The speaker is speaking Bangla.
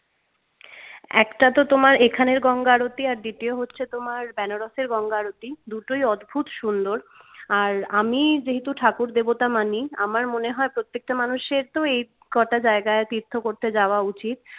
একটাতো তো তোমার এখানের গঙ্গা আরতি আর দ্বিতীয় হচ্ছে benaras এর গঙ্গা আরতি দুটোই অদ্ভুত সুন্দর আর আমি যেহেতু ঠাকুর দেবতা মানি আমার মনে হয় প্রত্যেকটা মানুষের তো এই কটা জায়গায় তীর্থ করতে যাওয়া উচিত